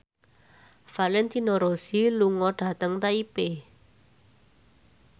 Valentino Rossi lunga dhateng Taipei